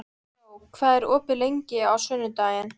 Gló, hvað er opið lengi á sunnudaginn?